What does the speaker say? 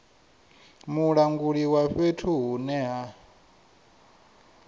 mulanguli wa fhethu hune ha